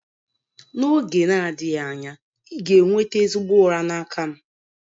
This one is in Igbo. N'oge na-adịghị anya, ị ga-enweta ezigbo ụra n'aka m.